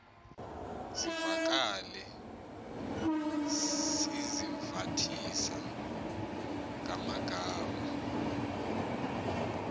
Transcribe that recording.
zivakale sizivathisa ngamagama